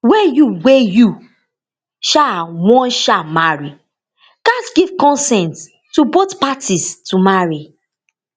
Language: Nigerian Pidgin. wey you wey you um wan um marry gatz give consent to both parties to marry